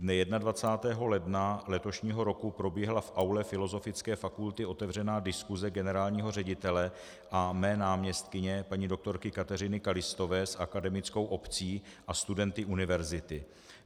Dne 21. ledna letošního roku proběhla v aule Filozofické fakulty otevřená diskuse generálního ředitele a mé náměstkyně paní doktorky Kateřiny Kalistové s akademickou obcí a studenty univerzity.